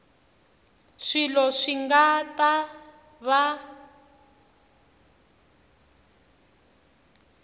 swilo swi nga ta va